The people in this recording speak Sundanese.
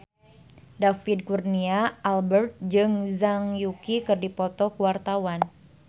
David Kurnia Albert jeung Zhang Yuqi keur dipoto ku wartawan